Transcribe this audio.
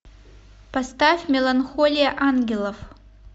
поставь меланхолия ангелов